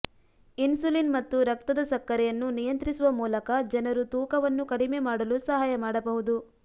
insulin ಮತ್ತು ರಕ್ತದ ಸಕ್ಕರೆ ಅನ್ನು ನಿಯಂತ್ರಿಸುವ ಮೂಲಕ ಜನರು ತೂಕವನ್ನು ಕಡಿಮೆ ಮಾಡಲು ಸಹಾಯ ಮಾಡಬಹುದು